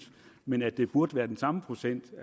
men at det burde være den samme procent